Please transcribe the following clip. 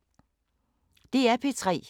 DR P3